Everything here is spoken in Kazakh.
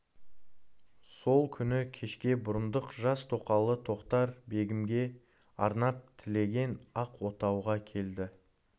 сол күні кешке бұрындық жас тоқалы тоқтар-бегімге арнап тігілген ақ отауға келді